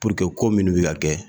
ko minnu bɛ ka kɛ